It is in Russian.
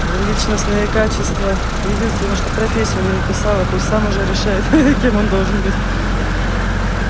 личностные качества единственное что профессию не написала пусть сам уже решает ха-ха кем он должен быть